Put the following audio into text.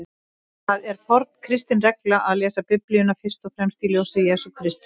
Það er forn kristin regla að lesa Biblíuna fyrst og fremst í ljósi Jesú Krists.